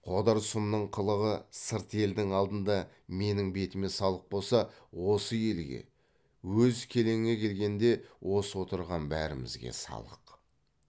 қодар сұмның қылығы сырт елдің алдында менің бетіме салық болса осы елге өз келеңе келгенде осы отырған бәрімізге салық